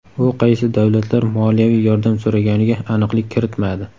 U qaysi davlatlar moliyaviy yordam so‘raganiga aniqlik kiritmadi.